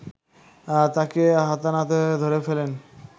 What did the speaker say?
তাকে হাতেনাতে ধরে ফেলেন